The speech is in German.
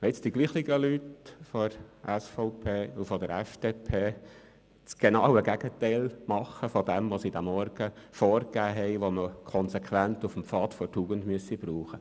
Es erstaunt mich, wenn nun dieselben Personen aus der SVP und der FDP das genaue Gegenteil dessen machen, was sie heute Morgen als konsequent vorgegeben haben.